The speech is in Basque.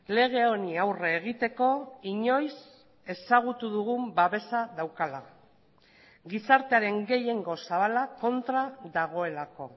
lege honi aurre egiteko inoiz ezagutu dugun babesa daukala gizartearen gehiengo zabala kontra dagoelako